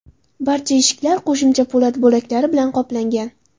Barcha eshiklar qo‘shimcha po‘lat bo‘laklari bilan qoplangan.